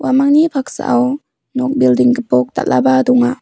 paksao nok bilding gipok dal·aba donga.